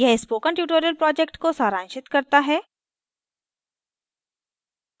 यह spoken tutorial project को सारांशित करता है